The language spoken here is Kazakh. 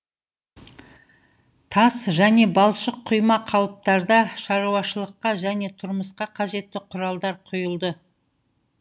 тас және балшық құйма қалыптарда шаруашылыққа және тұрмысқа қажетті құралдар құйылды